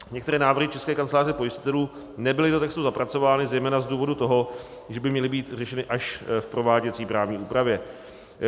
Některé návrhy České kanceláře pojistitelů nebyly do textu zapracovány zejména z důvodu toho, že by měly být řešeny až v prováděcí právní úpravě.